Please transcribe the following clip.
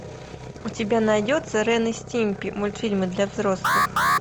у тебя найдется рен и стимпи мультфильмы для взрослых